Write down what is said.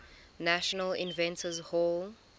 national inventors hall